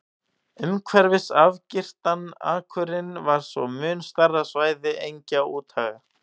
Umhverfis afgirtan akurinn var svo mun stærra svæði engja og úthaga.